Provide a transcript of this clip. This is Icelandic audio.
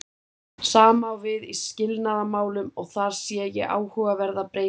Sama á við í skilnaðarmálunum og þar sé ég áhugaverða breytingu.